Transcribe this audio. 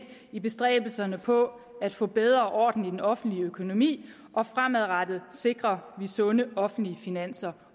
i bestræbelserne på at få bedre orden i den offentlige økonomi og fremadrettet sikrer vi sunde offentlige finanser